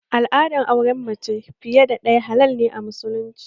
Al'adar auren mace fiye da ɗaya halal ne a musulunci